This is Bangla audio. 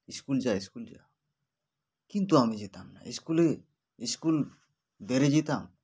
school যা school যা কিন্তু আমি যেতাম না school -এ school বেড়ে যেতাম